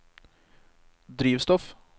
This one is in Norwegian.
drivstoff